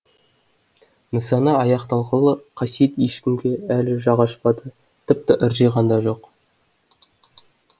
нысана аяқталғалы қасиет ешкімге әлі жақ ашпады тіпті ыржиған да жоқ